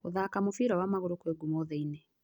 Gũthaka mũbira wa magũrũ kwĩ ngumo thĩ-inĩ.